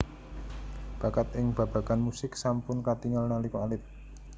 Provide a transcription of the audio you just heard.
Bakat ing babagan musik sampun katingal nalika alit